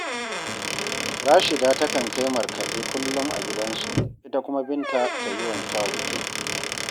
Rashida takan kai markaɗe kullum a gidansu, ita kuma Binta ta yi wanke-wanke